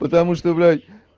потому что блядь